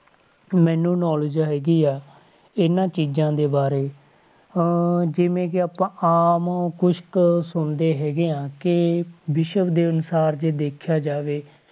ਮੈਨੂੰ knowledge ਹੈਗੀ ਆ, ਇਹਨਾਂ ਚੀਜ਼ਾਂ ਦੇ ਬਾਰੇ ਅਹ ਜਿਵੇਂ ਕਿ ਆਪਾਂ ਆਮ ਕੁਛ ਕੁ ਸੁਣਦੇ ਹੈਗੇ ਆਂ ਕਿ ਵਿਸ਼ਵ ਦੇ ਅਨੁਸਾਰ ਜੇ ਦੇਖਿਆ ਜਾਵੇ,